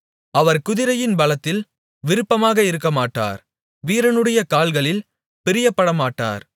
அவர் குதிரையின் பலத்தில் விருப்பமாக இருக்கமாட்டார் வீரனுடைய கால்களில் பிரியப்படமாட்டார்